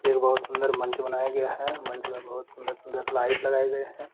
एक बहुत सुंदर मंच बनाया गया है। मंच मे बहुत सुंदर सुंदर लाइट लगाए गए हैं।